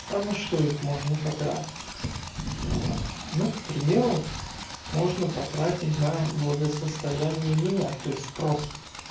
а на что их можно потратить ну к примеру можно потратить на благосостояние меня то есть просто